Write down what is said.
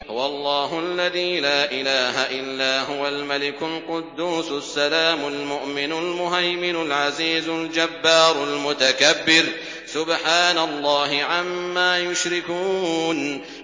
هُوَ اللَّهُ الَّذِي لَا إِلَٰهَ إِلَّا هُوَ الْمَلِكُ الْقُدُّوسُ السَّلَامُ الْمُؤْمِنُ الْمُهَيْمِنُ الْعَزِيزُ الْجَبَّارُ الْمُتَكَبِّرُ ۚ سُبْحَانَ اللَّهِ عَمَّا يُشْرِكُونَ